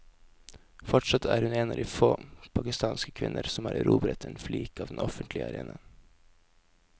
Fortsatt er hun en av få pakistanske kvinner som har erobret en flik av den offentlige arenaen.